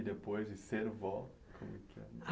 E depois de ser vó, como é que é?